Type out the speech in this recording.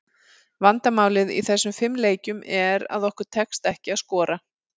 Vandamálið í þessum fimm leikjum, er að okkur tekst ekki að skora.